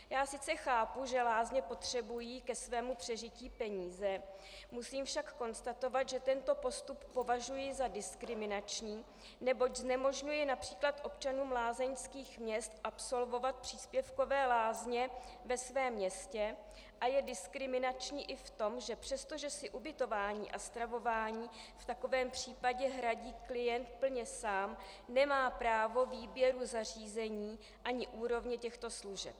Já sice chápu, že lázně potřebují ke svému přežití peníze, musím však konstatovat, že tento postup považuji za diskriminační, neboť znemožňuje například občanům lázeňských měst absolvovat příspěvkové lázně ve svém městě, a je diskriminační i v tom, že přestože si ubytování a stravování v takovém případě hradí klient plně sám, nemá právo výběru zařízení ani úrovně těchto služeb.